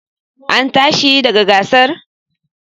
An tashi daga gasar?